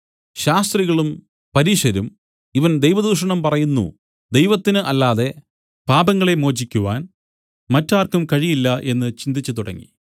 ശാസ്ത്രികളും പരീശരും ഇവൻ ദൈവദൂഷണം പറയുന്നു ദൈവത്തിന് അല്ലാതെ പാപങ്ങളെ മോചിക്കുവാൻ മറ്റാർക്കും കഴിയില്ല എന്ന് ചിന്തിച്ചുതുടങ്ങി